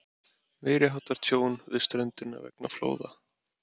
Meiriháttar tjón við ströndina vegna flóða.